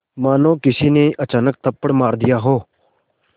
मानो किसी ने अचानक थप्पड़ मार दिया हो